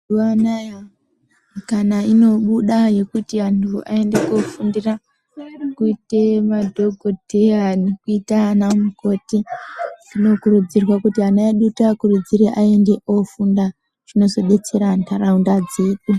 Mazuva anoaya mukana inobuda zvekuti vantu ayende kunofundira kuite madhokodheya nekuita ana mukoti zvinokurudzirwa kuti ana edu tiakuridzire ayende kunofunda zvinozodetsera nharaunda dzedu.